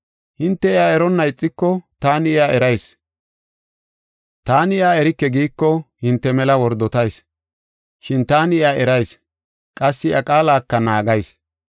Hinte iya eronna ixiko taani iya erayis. Taani iya erike giiko hinte mela wordotayis. Shin taani iya erayis; qassi iya qaalaka naagayis.